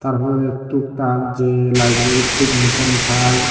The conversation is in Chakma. tarporede tuktak je layebrarit se jinisani tai.